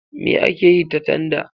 Me akeyi ta tanda?